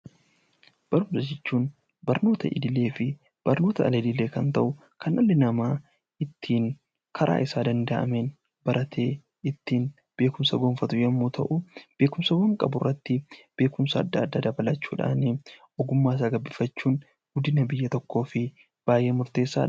Barnoota jechuun barnoota idilee fi barnoota al-idilee kan ta'u kan dhalli namaa karaa isaaf danda'ameen karaa ittiin baratee beekumsa gonfatu yoo ta'u, beekumsa qaburratti beekumsa adda addaa dabalachuudhaan ogummaa isaa gabbifachuun guddina biyya tokkoof murteessaadha.